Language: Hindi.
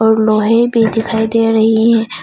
और लोहे भी दिखाई दे रही है।